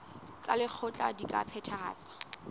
tsa lekgetho di ka phethahatswa